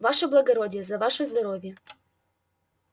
ваше благородие за ваше здоровье